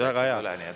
Väga hea!